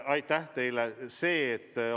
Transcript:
Aitäh teile!